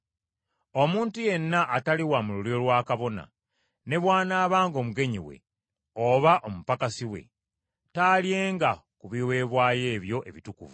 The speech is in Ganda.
“Omuntu yenna atali wa mu lulyo lwa kabona, ne bw’anaabanga omugenyi we, oba omupakasi we, taalyenga ku biweebwayo ebyo ebitukuvu.